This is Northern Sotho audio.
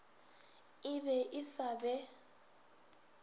e be e sa be